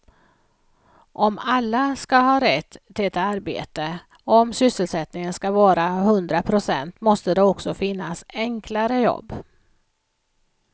Om alla ska ha rätt till ett arbete, om sysselsättningen ska vara hundra procent måste det också finnas enklare jobb.